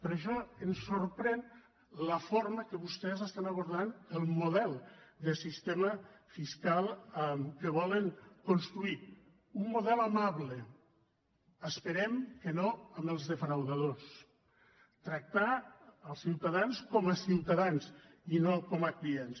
per això ens sorprèn la forma amb què vostès estan abordant el model de sistema fiscal que volen construir un model amable esperem que no amb els defraudadors tractar els ciutadans com a ciutadans i no com a clients